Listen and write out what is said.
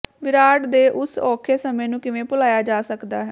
ਵਿਰਾਟ ਦੇ ਉਸ ਔਖੇ ਸਮੇਂ ਨੂੰ ਕਿਵੇਂ ਭੁਲਾਇਆ ਜਾ ਸਕਦਾ ਹੈ